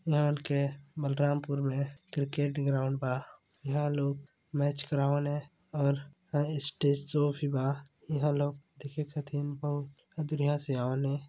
बलरामपुर में cricket ground बा इहा लोग मैच करावंन है और--